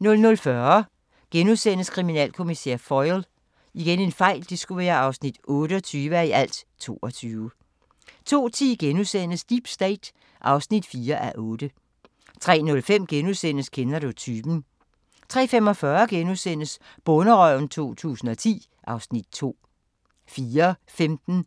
00:40: Kriminalkommissær Foyle (28:22)* 02:10: Deep State (4:8)* 03:05: Kender du typen? * 03:45: Bonderøven 2010 (Afs. 2)* 04:15: